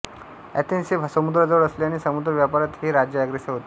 Athens हे समुद्राजवळ असल्याने समुद्र व्यापारात हे राज्य अग्रेसर होते